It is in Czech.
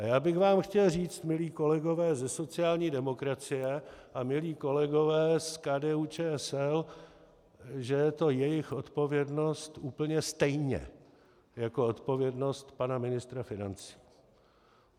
A já bych vám chtěl říct, milí kolegové ze sociální demokracie a milí kolegové z KDU-ČSL, že je to jejich odpovědnost úplně stejně jako odpovědnost pana ministra financí.